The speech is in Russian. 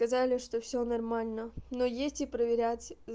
сказали что всё нормально но есть и проверять